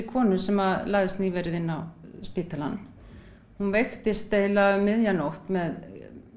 konu sem lagðist nýverið inn á spítalann hún veiktist um miðja nótt með